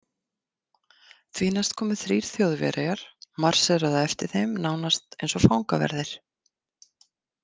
Því næst komu þrír Þjóðverjar, marséruðu á eftir þeim nánast eins og fangaverðir.